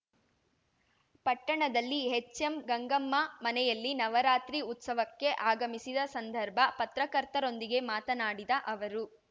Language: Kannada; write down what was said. ಪಟ್ಟಣದಲ್ಲಿ ಹೆಚ್‌ಎಂ ಗಂಗಮ್ಮ ಮನೆಯಲ್ಲಿ ನವರಾತ್ರಿ ಉತ್ಸವಕ್ಕೆ ಆಗಮಿಸಿದ ಸಂದರ್ಭ ಪತ್ರಕರ್ತರೊಂದಿಗೆ ಮಾತನಾಡಿದ ಅವರು